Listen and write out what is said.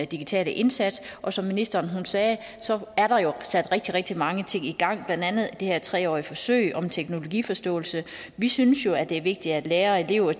digitale indsats og som ministeren sagde er der jo sat rigtig rigtig mange ting i gang blandt andet det her tre årige forsøg om teknologiforståelse vi synes jo at det er vigtigt at lærere og elever